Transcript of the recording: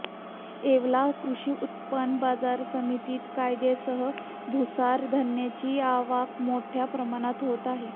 येवला कृषी उत्पन्न बाजार समितीत कांद्यासह भुसार धान्याची आवक मोठ्या प्रमाणात होत असते